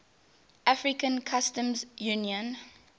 african customs union